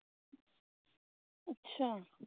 ਅਛਾ